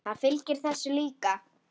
Það fylgir þessu líka.